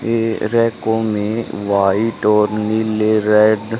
ये रैकों में व्हाइट और नीले रेड --